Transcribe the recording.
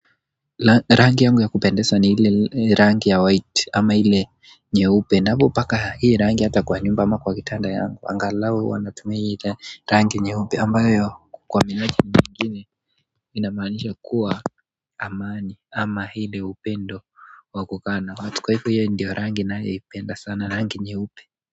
Rangi yangu ya kupendeza ni ile rangi ya white ama ile nyeupe napo paka hii rangi hata kwa nyumba ama kwa kitanda yangu angalau huwa natumia hii ile rangi nyeupe ambayo kwa minaji mingine inamaanisha kuwa amani ama ile upendo wa kukaa na watu kwa hivyo hiyo ndiyo rangi naipenda sana rangi nyeupe.